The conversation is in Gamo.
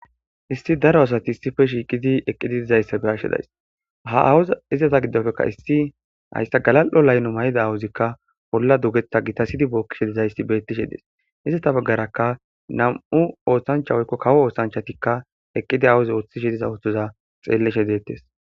isti daro asati issife shiiqidi eqqidi dizayssa be'ashe days ha awuza izata giddofekka issi hayssa galal7o layno may7ida awuzikka bolla dugetha gitasidi bookkishe dizayssi bettishe dees iztata baggaraka nam7u oosancha woykko kawo oosanchatikka eqqidi awuzi ooththishi diza othoza xeelleshe deettes